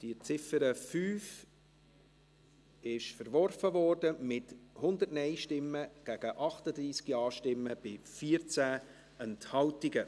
Die Ziffer 5 wurde verworfen, mit 100 Nein- gegen 38 Ja-Stimmen bei 14 Enthaltungen.